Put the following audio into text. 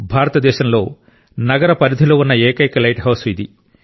భారతదేశంలో నగర పరిధిలో ఉన్న ఏకైక లైట్ హౌస్ ఇది